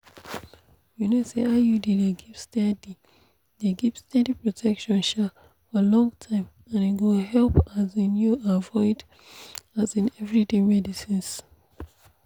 you know say iud dey give steady dey give steady protection um for long time and e go help um you avoid um everyday medicines.